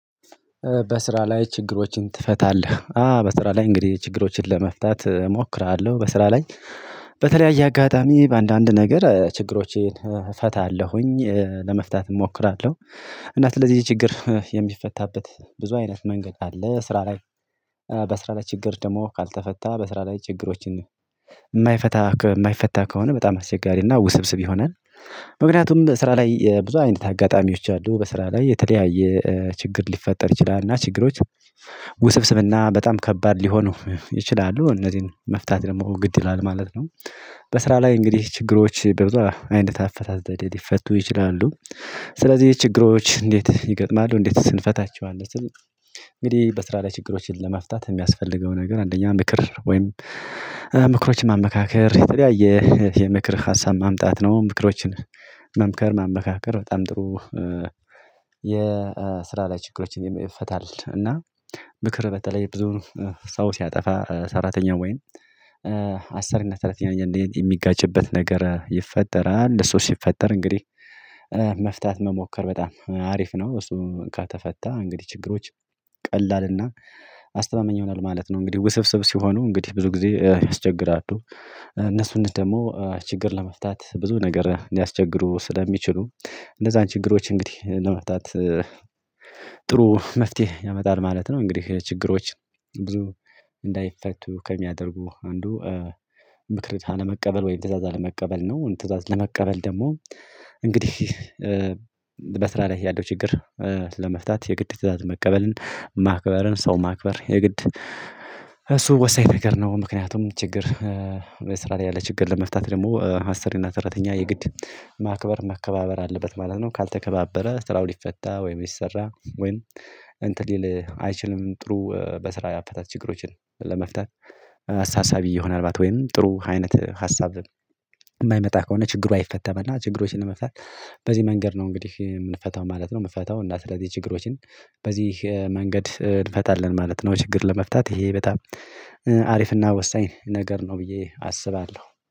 በስራ ላይ ችግሮችን ትፈታለህ? አ በስራ ላይ እንግዲህ ችግሮችን ለመፍታት እሞክራለሁ በስራ ላይ በተለያየ አጋጣሚ በአንዳንድ ነገር ችግሮቼን እፈታለሁኝ ለመፍታት እሞክራለሁ። እና ለዚህ ችግር የሚፈታበት ብዙ አይነት መንገድ አለ ስራ ላይ በስራ ላይ ችግር ደግሞ ካልተፈታ በስራ ላይ ችግሮችን የማይፈታ የማይፈታ ከሆነ በጣም አስቸጋሪና ውስብስብ ይሆናል። ምክንያቱም በስራ ላይ ብዙ አይነት አጋጣሚዎች አሉ በስራ ላይ የተለያየ ችግር ሊፈጠር ይችላል እና ችግሮች ውስብስብ እና በጣም ከባድ ሊሆኑ ይችላሉ እነዚህን መፍታት ደግሞ ግድ ይላል ማለት ነው። በስራ ላይ እንግዲህ ችግሮች በብዙ አይነት አፈታት ዘዴ ሊፈቱ ይችላሉ። ስለዚህ ችግሮች እንዴት ይገጥማሉ እንዴትስ እንፈታቸዋለን ስል? እንግዲህ በስራ ላይ ችግሮችን ለመፍታት የሚያስፈልገው ነገር አንደኛ ምክር ወይም ምክሮችን ማመካከር የተለያየ የምክር ሀሳብ ማምጣት ነው። ምክሮችን መምከር ማመካከር በጣም ጥሩ። የስራ ላይ ችግሮችን ይፈታል። እና ምክር በተለይ ብዙ ሰው ሲያጠፋ ሰራተኛ ወይም አሰሪነት ሰራተኛ አንዳንዴ የሚጋጭበት ነገር ይፈጠራል። እሱ ሲፈጠር እንግዲህ መፍታት መሞከር በጣም አሪፍ ነው። እሱ ከተፈታ እንግዲህ ችግሮች ቀላልና አስተማመኝ ይሆናሉ ማለት ነው። እንግዲህ ውስብስብ ሲሆኑ እንግዲህ ብዙ ጊዜ ያስቸግራሉ። እነሱንም ደግሞ ችግር ለመፍታት ብዙ ነገር ሊያስቸግሩ ስለሚችሉ እንዛን ችግሮች እንግዲህ ለመፍታት። ጥሩ መፍትሄ ያመጣል ማለት ነው። እንግዲህ ችግሮች ብዙ እንዳይፈቱ ከሚያደርጉ አንዱ ምክርን ካለመቀበል ወይም ትእዛዝ አለመቀበል ነው። ትእዛዝ ለመቀበል ደግሞ እንግዲህ በስራ ላይ ያለው ችግር ለመፍታት የግድ ትእዛዝ መቀበልን ማክበርን ሰው ማክበር የግድ እሱ ወሳኝ ነገር ነው። ምክንያቱም ችግር ስራ ላይ ያለ ችግር ለመፍታት ደግሞ አስሪ እና ሰራተኛ የግድ ማክበር መከባበር አለበት ማለት ነው። ካልተከባበረ ስራው ሊፈታ ወይም ሊሰራ ወይም እንትን ሊል አይችልም። ጥሩ በስራ አፈታት ችግሮችን ለመፍታት አሳሳቢ ይሆናል። ወይም ጥሩ አይነት ሀሳብ የማይመጣ ከሆነ ችግሩ አይፈተም እና ችግሮችን ለመፍታት በዚህ መንገድ ነው እንግዲህ የምንፈታው ማለት ነው። የምፈታው እና ስለዚህ ችግሮችን በዚህ መንገድ እንፈታለን ማለት ነው። ችግር ለመፍታት ይሄ በጣም አሪፍና ወሳኝ ነገር ነው ብዬ አስባለሁ